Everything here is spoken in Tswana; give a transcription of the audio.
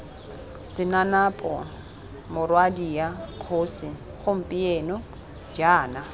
senanapo morwadia kgosi gompieno jaana